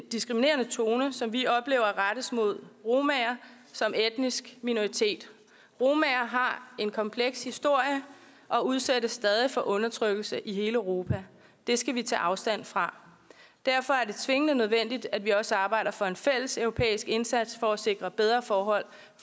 diskriminerende tone som vi oplever rettes mod romaer som etnisk minoritet romaer har en kompleks historie og udsættes stadig for undertrykkelse i hele europa det skal vi tage afstand fra derfor er det tvingende nødvendigt at vi også arbejder for en fælles europæisk indsats for at sikre bedre forhold